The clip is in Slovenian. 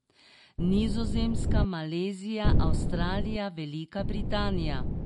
Nizozemska, Malezija, Avstralija, Velika Britanija.